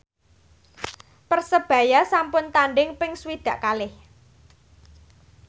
Persebaya sampun tandhing ping swidak kalih